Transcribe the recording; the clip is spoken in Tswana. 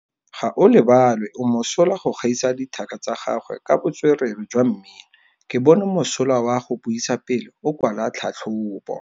Gaolebalwe o mosola go gaisa dithaka tsa gagwe ka botswerere jwa mmino. Ke bone mosola wa go buisa pele o kwala tlhatlhobô.